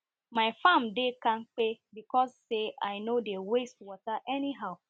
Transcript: my farm dey kampe because say i no dey waste water any how